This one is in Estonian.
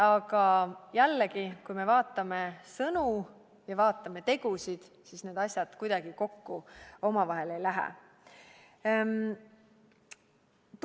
Aga jällegi, kui me vaatame sõnu ja tegusid, siis need kuidagi omavahel kokku ei lähe.